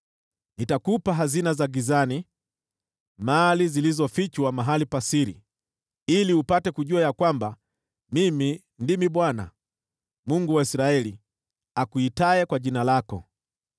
Nitakupa hazina za gizani, mali zilizofichwa mahali pa siri, ili upate kujua ya kwamba Mimi ndimi Bwana , Mungu wa Israeli, akuitaye kwa jina lako.